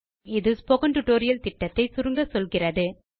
இது spoken tutorial project ஐ சுருக்கமாக சொல்லுகிறது